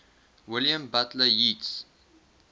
william butler yeats